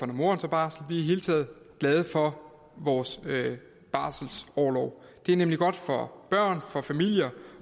når moderen tager barsel vi hele taget glade for vores barselsorlov det er nemlig godt for børn for familier